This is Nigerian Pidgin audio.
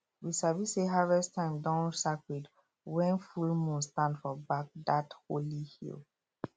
we sabi say harvest time don sacred when full moon stand for back that holy hill